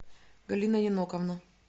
галина еноковна